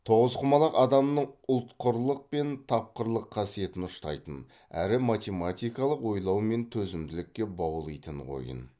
тоғызқұмалақ адамның ұтқырлық пен тапқырлық қасиетін ұштайтын әрі математикалық ойлау мен төзімділікке баулитын ойын